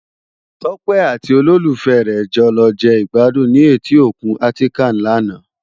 Tope àti ólólúfè re jò lò je igbàdún ni éti ókún Atikàn làná